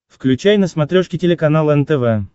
включай на смотрешке телеканал нтв